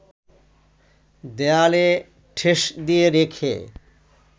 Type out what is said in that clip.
দেয়ালে ঠেস দিয়ে রেখে